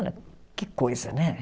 Olha, que coisa, né?